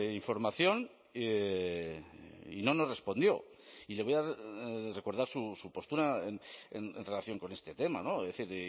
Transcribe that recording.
información y no nos respondió y le voy a recordar su postura en relación con este tema es decir